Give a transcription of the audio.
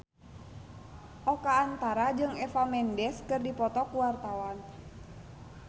Oka Antara jeung Eva Mendes keur dipoto ku wartawan